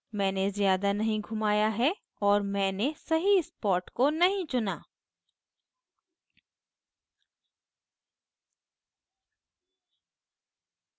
मैंने ज़्यादा नहीं घुमाया है और मैंने सही spot को नहीं चुना